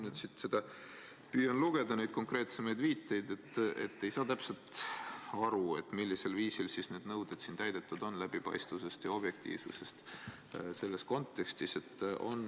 Kui ma püüan lugeda siit neid konkreetsemaid viiteid, siis ei saa täpselt aru, millisel viisil need nõuded ikkagi täidetud on – ma pean silmas läbipaistvust ja objektiivsust.